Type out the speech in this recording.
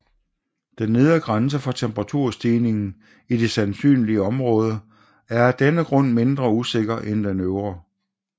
Den nedre grænse for temperaturstigningen i det sandsynlige område er af denne grund mindre usikker end den øvre